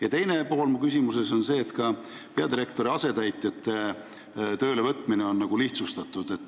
Ja teine pool küsimusest: ka peadirektori asetäitjate töölevõtmist tahetakse lihtsustada.